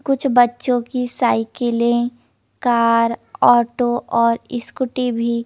कुछ बच्चों की साइकिले कार ऑटो ओर स्कूटी भी --